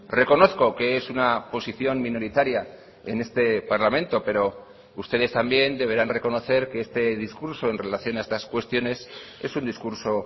reconozco que es una posición minoritaria en este parlamento pero ustedes también deberán reconocer que este discurso en relación a estas cuestiones es un discurso